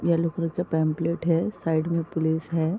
Yellow colour के pamphlet है। Side मे पुलिस है।